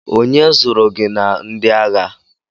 Onye zụrụ gị na ndị agha?